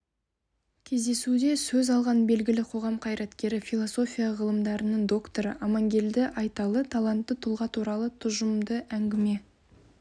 кездесуде сөз алған белгілі қоғам қайраткері философия ғылымдарының докторы амангелді айталы талантты тұлға туралы тұшымды әңгіме